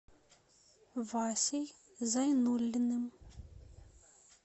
васей зайнуллиным